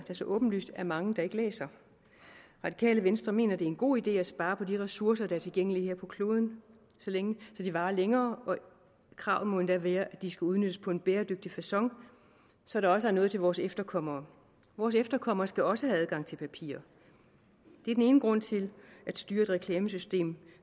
der så åbenlyst er mange der ikke læser radikale venstre mener det er en god idé at spare på de ressourcer der er tilgængelige her på kloden så de varer længere kravet må endda være at de skal udnyttes på en bæredygtig facon så der også er noget til vores efterkommere vores efterkommere skal også have adgang til papir det er den ene grund til at styre et reklamesystem